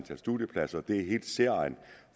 af studiepladser